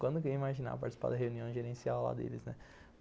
Quando que eu ia imaginar participar da reunião gerencial lá deles, né?